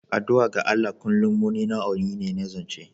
Addu'a ga Allah kullum wani nau'i ne na zance.